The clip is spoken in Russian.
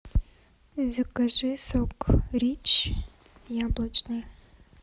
закажи сок рич яблочный